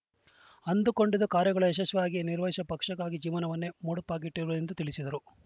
ಅಂದುಕೊಂಡಿದ್ದ ಕಾರ್ಯಗಳ ಯಶಸ್ವಿಯಾಗಿ ನಿರ್ವಹಿಸಿ ಪಕ್ಷಕ್ಕಾಗಿ ಜೀವನವನ್ನೇ ಮುಡುಪಾಗಿಟ್ಟಿದ್ದರು ಎಂದು ತಿಳಿಸಿದರು